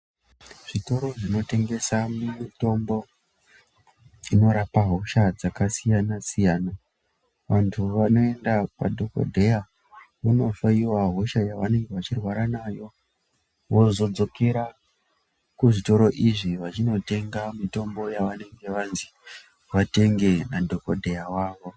Zvitoro zvinotengesa mutombo inorapa hosha dzakasiyana siyana vantu vanoenda kwadhokodheya vondohloyiwa hosha yavanenge vachirwara nayo vozodzokera kuzvitoro izvi vachinotenga mitombo yavanenge vanzi vatenge nadhokodheya wavo.